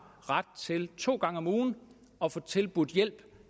ret til to gange om ugen at få tilbudt hjælp